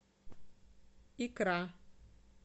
икра